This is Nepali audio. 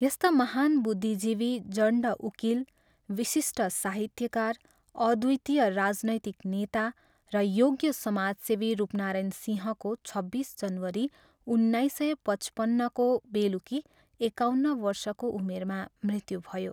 यस्ता महान् बुद्धिजीवी, जण्ड उकिल, विशिष्ट साहित्यकार, अद्वितीय राजनैतिक नेता र योग्य समाजसेवी रूपनारायण सिंहको छब्बिस जनवरी उन्नाइस सय पचपन्नको बेलुकी एकाउन्न वर्षको उमेरमा मृत्यु भयो।